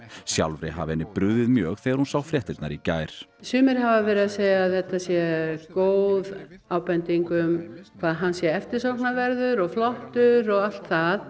sjálfri hafi henni brugðið mjög þegar hún sá fréttirnar í gær sumir hafa verið að segja að þetta sé góð ábending um hvað hann sé eftirsóknarverður og flottur og allt það